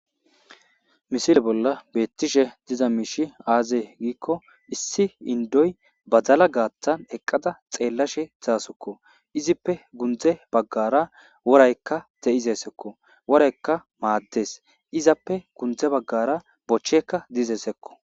Misile bolla beettishe diza miishi aaze giikko issi indoy badala gaattan eqqada xeellashe zaasokko izippe gundze baggara woraykka de'izesekko woraykka maaddes izappe gundze baggara bochchekka dizesekko.